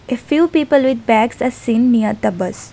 If you people with bags a seen near the bus.